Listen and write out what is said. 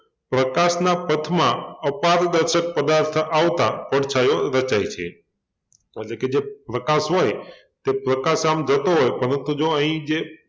પ્રકાશના પથમાં અપારદર્શક પદાર્થ આવતા પડછાયો રચાય છે એટલે કે જે પ્રકાશ હોય તે પ્રકાશ આમ જતો હોય પરંતુ જૂઓ અહિં જે